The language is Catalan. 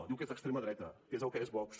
diu que és d’extrema dreta que és el que és vox